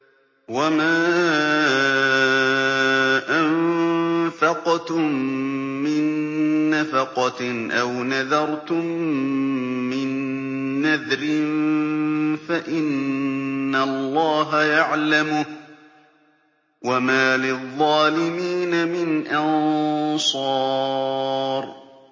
وَمَا أَنفَقْتُم مِّن نَّفَقَةٍ أَوْ نَذَرْتُم مِّن نَّذْرٍ فَإِنَّ اللَّهَ يَعْلَمُهُ ۗ وَمَا لِلظَّالِمِينَ مِنْ أَنصَارٍ